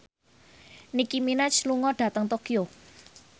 Nicky Minaj lunga dhateng Tokyo